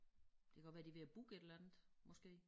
Det godt være de ved at booke et eller andet måske